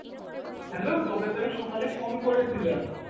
hello তোকে তো আমি সকালে phone করে ছিলাম